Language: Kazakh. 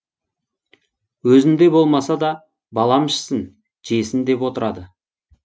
өзінде болмаса да балам ішсін жесін деп отырады